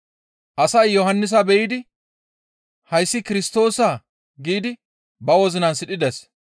Asay Yohannisa be7idi, «Hayssi Kirstoosaa?» giidi ba wozinan sidhides.